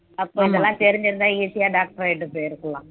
அப்போ இதெல்லாம் தெரிஞ்சிருந்தா easy ஆ doctor ஆயிட்டு போயிருக்கலாம்